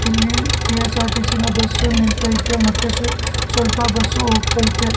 ಇಲ್ಲಿ ಕೆ_ಎಸ್_ಆರ್_ಟಿ_ಸಿ ನ ಬಸ್ಸು ನಿಂತೈತೆ ಮತ್ತೆ ಸು ಸ್ವಲ್ಪ ಬಸ್ಸು ಹೋಗತೈತೆ.